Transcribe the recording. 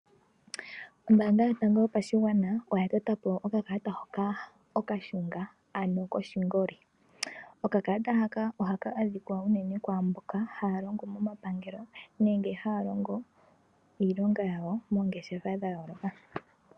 Ombaanga yotango yopashigwana oya tota po okakalata hoka okashunga ano koshingoli. Oka kalata haka ohaka adhika unene kwaamboka haya longo mo mapangelo, nenge haya longo iilonga yawo moongeshefa dha yooloka.